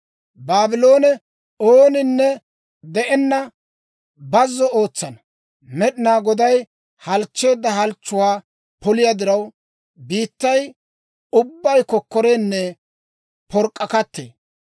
«Baabloone ooninne de'enna bazzo ootsanaw Med'inaa Goday halchcheedda halchchuwaa poliyaa diraw, biittay ubbay kokkorenne pork'k'akattee.